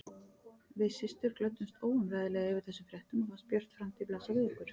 Við systur glöddumst óumræðilega yfir þessum fréttum og fannst björt framtíð blasa við okkur.